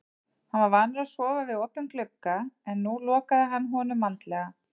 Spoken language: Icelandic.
Hann var vanur að sofa við opinn glugga en nú lokaði hann honum vandlega.